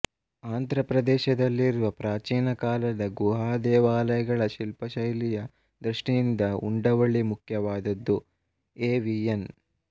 ಆಂಧ್ರ ಪ್ರದೇಶದಲ್ಲಿರುವ ಪ್ರಾಚೀನ ಕಾಲದ ಗುಹಾದೇವಾಲಯಗಳ ಶಿಲ್ಪಶೈಲಿಯ ದೃಷ್ಟಿಯಿಂದ ಉಂಡವಳ್ಳಿ ಮುಖ್ಯವಾದದ್ದು ಎ ವಿ ಎನ್